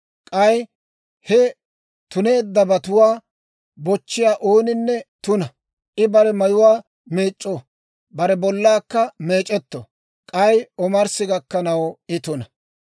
K'ay he tuneeddabatuwaa bochchiyaa ooninne tuna; I bare mayuwaa meec'c'o; bare bollaakka meec'etto; k'ay omarssi gakkanaw I tuna.